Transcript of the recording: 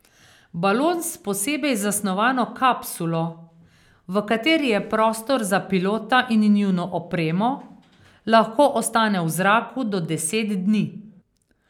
Balon s posebej zasnovano kapsulo, v kateri je prostor za pilota in njuno opremo, lahko ostane v zraku do deset dni.